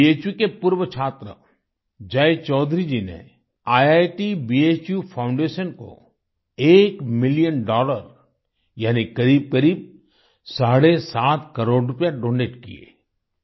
भू के पूर्व छात्र जय चौधरी जी ने ईआईटी भू फाउंडेशन को एक मिलियन डॉलर यानि करीबकरीब साढ़े सात करोड़ रुपए डोनेट किये